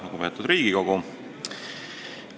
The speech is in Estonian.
Lugupeetud Riigikogu!